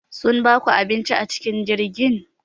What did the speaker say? Sun baku abinci acikin jirgin?